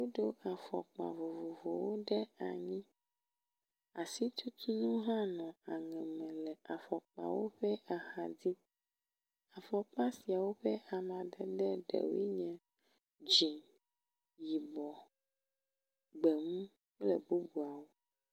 Woɖo afɔkpa vovovowo ɖe anyi. Asitutu nu hã nɔ aŋeme le afɔkpawo ƒe axadzi. Afɔkpa siawo ƒe amadede ɖewo nye; dzĩ, yibɔ, gbemu kple bubuawo.